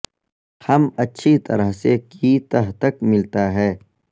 ہم اچھی طرح سے کی تہ تک ملتا ہے